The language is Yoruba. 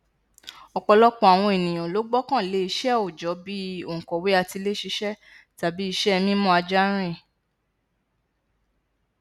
ọpọlọpọ àwọn ènìyàn ló gbọkànlé iṣẹ òòjọ bí i onkọwe atiléṣiṣẹ tàbí iṣẹ ẹ mímú ajá rìn